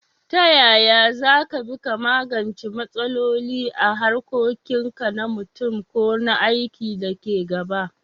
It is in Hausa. Ta yaya za ka bi da magance matsaloli a harkokin ka na mutum ko na aiki da ke gaba?